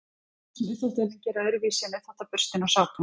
hvað er það sem uppþvottavélin gerir öðruvísi en uppþvottaburstinn og sápan